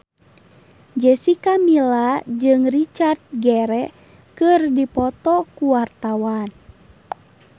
Jessica Milla jeung Richard Gere keur dipoto ku wartawan